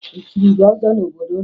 E chiri gị ọzọ n'obodo unu?